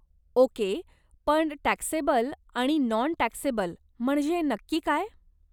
Okay, पण taxable आणि non taxable म्हणजे नक्की काय?